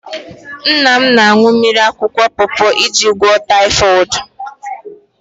Nna m na-aṅụ mmiri akwụkwọ pọọpọ iji gwụọ taịfọd.